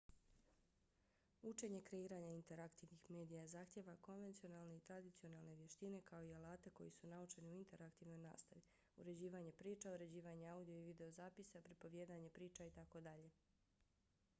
učenje kreiranja interaktivnih medija zahtijeva konvencionalne i tradicionalne vještine kao i alate koji su naučeni u interaktivnoj nastavi uređivanje priča uređivanje audio i videozapisa pripovijedanje priča itd.